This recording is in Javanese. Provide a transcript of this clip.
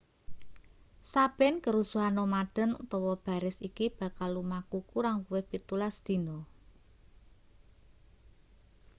saben kerusuhan nomaden utawa baris iki bakal lumaku kurang luwih 17 dina